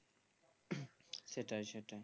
সেটাই সেটাই